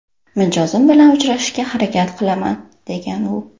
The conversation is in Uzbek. Mijozim bilan uchrashishga harakat qilaman”, degan u.